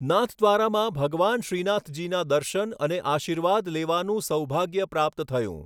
નાથદ્વારામાં ભગવાન શ્રીનાથજીના દર્શન અને આશીર્વાદ લેવાનું સૌભાગ્ય પ્રાપ્ત થયું.